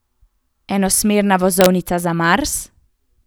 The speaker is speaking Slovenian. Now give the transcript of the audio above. Enosmerna vozovnica za Mars?